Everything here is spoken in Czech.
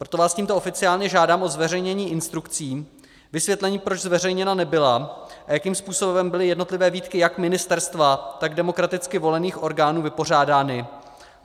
Proto vás tímto oficiálně žádám o zveřejnění instrukce, vysvětlení, proč zveřejněna nebyla a jakým způsobem byly jednotlivé výtky jak ministerstva, tak demokraticky volených orgánů vypořádány.